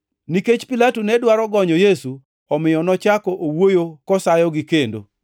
Nikech Pilato ne dwaro gonyo Yesu, omiyo nochako owuoyo kosayogi kendo